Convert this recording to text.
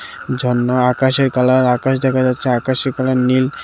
ঝরনা ও আকাশের কালার আকাশ দেখা যাচ্ছে আকাশের কালার নীল।